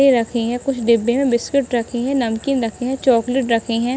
रखे हैं कुछ डिब्बे में बिस्कुट रखे हैं नमकीन रखे हैं चॉकलेट रखे हैं।